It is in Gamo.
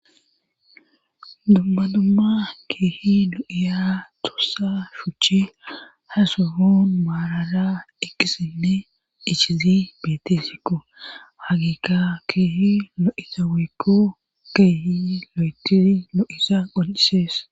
Dubbadumma keehi do"iya tussa shuchchi hasufun maalara ekkisinne ichizi beetessikko hagiikka keehi no"ita wiikko keehi lo"etiri no7isa qoncisees